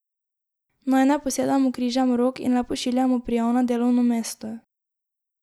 Naj ne posedamo križem rok in le pošiljamo prijav na delovno mesto.